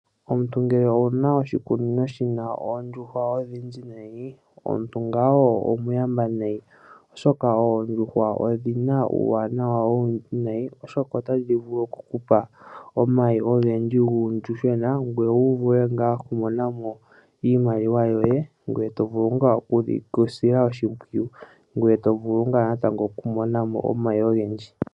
Omuntu ngele owuna oshikunino shina oondjuhwa odhindji nai, omuntu omuntu ngawo omuyamba nayi, oshoka oondjuhwa odhina uuwanawa owundji nayi oshoka otadhi vulu okukupa omayi ogendji nuuyuhwena . Otovulu okwiimonena iimaliwa yoye gweye etovulu ngaa okudhisila oshimpwiyu gweye tovulu natango okumonamo omayi ogendji.